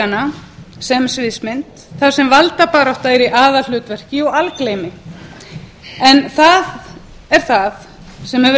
krúnuleikanna sem sviðsmynd þar sem valdabarátta er í aðalhlutverki og algleymi en það er það sem hefur